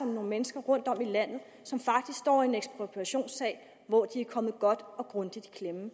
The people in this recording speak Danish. nogle mennesker rundtom i landet som faktisk står i en ekspropriationssag hvor de er kommet godt og grundigt i klemme